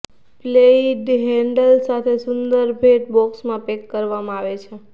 played handle સાથે સુંદર ભેટ બોક્સમાં પેક કરવામાં આવે છે